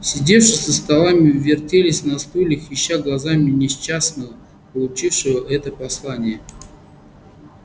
сидевшие за столами вертелись на стульях ища глазами несчастного получившего это послание